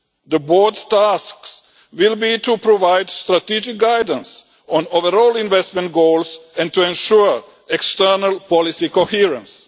The board's tasks will be to provide strategic guidance on overall investment goals and to ensure external policy coherence.